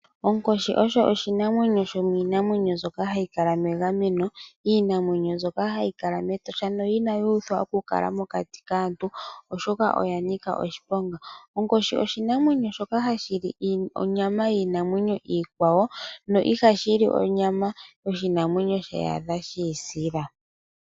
Onkoshi osho shimwe shomiinamwenyo mbyoka hayi kala megameno, iinamwenyo mbyoka hayi kala mEtosha no inayi uthwa okukala mokati kaantu, oshoka oya nika oshiponga. Onkoshi oshinamwenyo shoka hashi li onyama yiinamwenyo iikwawo no ihashi li onyama yoshinamwenyo ye shi adha shi isila.